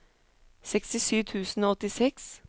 sekstisju tusen og åttiseks